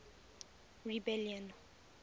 rebellion